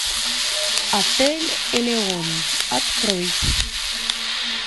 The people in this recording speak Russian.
отель элеон открой